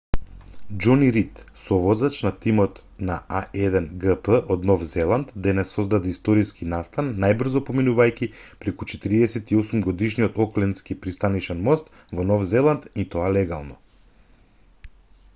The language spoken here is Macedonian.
џони рид совозач на тимот на а1гп од нов зеланд денес создаде историски настан најбрзо поминувајќи преку 48-годишниот оклендски пристанишен мост во нов зеланд и тоа легално